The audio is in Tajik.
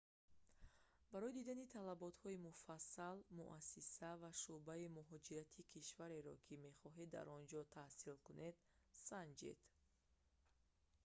барои дидани талаботҳои муфассал муассиса ва шуъбаи мухоҷирати кишвареро ки мехоҳед дар он ҷо таҳсил кунед санҷед